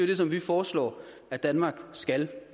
det som vi foreslår at danmark skal